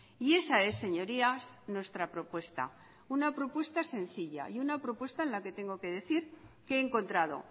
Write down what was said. y esa es señorías nuestra propuesta una propuesta sencilla y una propuesta en la que tengo que decir que he encontrado